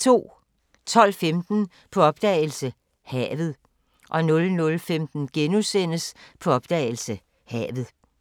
12:15: På opdagelse – Havet 00:15: På opdagelse – Havet *